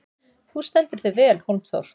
Þú stendur þig vel, Hólmþór!